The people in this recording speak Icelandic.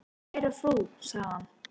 """Kæra frú, sagði hann."""